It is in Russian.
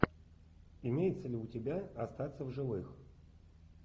имеется ли у тебя остаться в живых